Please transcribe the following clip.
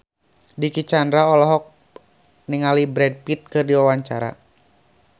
Dicky Chandra olohok ningali Brad Pitt keur diwawancara